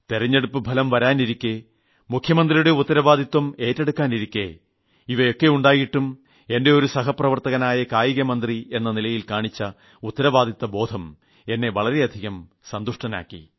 തിരഞ്ഞെടുപ്പ് ഫലം വരാനിരിക്കേ മുഖ്യമന്ത്രിയുടെ ഉത്തരവാദിത്വം ഏറ്റെടുക്കാനിരിക്കേ ഇവയൊക്കെയുണ്ടായിട്ടും എന്റെ ഒരു സഹപ്രവർത്തകൻ കായിക മന്ത്രി എന്ന നിലയിൽ കാണിച്ച ഉത്തരവാദിത്തബോധം എന്നെ വളരെയധികം സന്തുഷ്ടനാക്കി